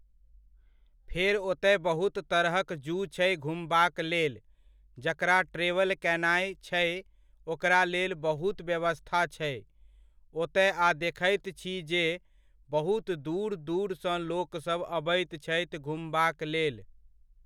फेर ओतय बहुत तरहक ज़ू छै घुमबाक लेल, जकरा ट्रेवल कयनाय छै ओकरा लेल बहुत व्यवस्था छै ओतय आ देखैत छी जे बहुत दूर दूरसँ लोकसब अबैत छथि घुमबाक लेल।